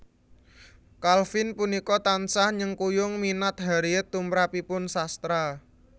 Calvin punika tansah nyengkuyung minat Harriet tumrapipun sastra